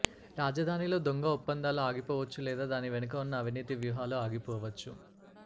రాజధానిలో దొంగ ఒప్పందాలు ఆగిపోవచ్చు లేదా దాని వెనుక వున్న అవినీతి వ్యూహాలు ఆగిపోవచ్చు